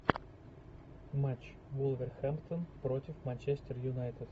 матч вулверхэмптон против манчестер юнайтед